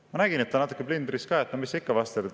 Ma nägin, et ta oli natukene plindris, et no mis sa ikka vastad.